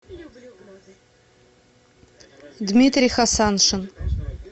дмитрий хасаншин